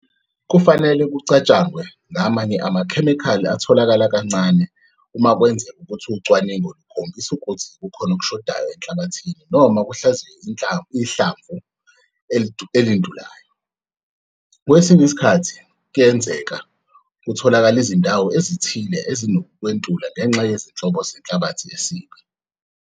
Kufanele kucatshangwe ngamanye amakhemikhali atholakala kancane umakwenzeka ukuthi ucwaningo lukhombisa ukuthi kukhona okushodayo enhlabathini noma kuhlaziywe ihlamvu elintulayo. Kwesinye isikhathi kuyenzeka kutholakale izindawo ezithile ezinokwentula ngenxa yezinhlobo zenhlabathi isib.